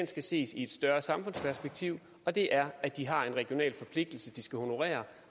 skal ses i et større samfundsperspektiv og det er at de har en regional forpligtelse de skal honorere